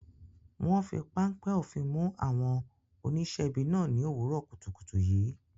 Wọn fi páńpẹ́ òfin mú àwọn oníṣẹ́ ibi náà ní òwúrọ̀ kùtùkùtù yìí.